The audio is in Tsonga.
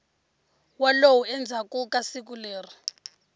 wolow endzhaku ka siku leri